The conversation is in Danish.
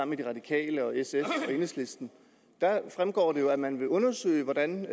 med de radikale og sf og enhedslisten der fremgår det jo at man vil undersøge hvordan